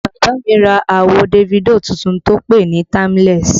Bàbá mi ra àwo Davido tuntun tó pè NÍ Timeless